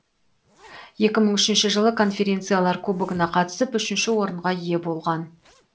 екі мың үшінші жылы конфедерациялар кубогына қатысып үшінші орынға ие болған